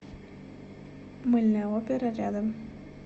мыльная опера рядом